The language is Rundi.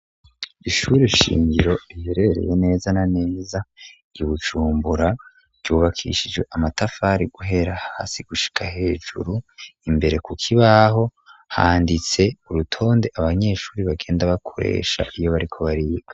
Ishure shingiro iherereye neza na neza i bujumbura, ryubakishijwe amatafari guhera hasi gushika hejuru, imbere kuko ibaho handitse urutonde abanyeshure bagenda bakoresha iyo bariko bariga.